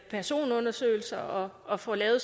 personundersøgelser og får lavet